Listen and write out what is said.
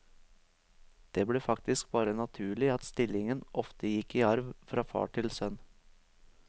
Det ble faktisk bare naturlig at stillingen ofte gikk i arv fra far til sønn.